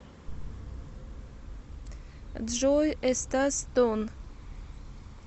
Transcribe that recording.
джой эстас тонн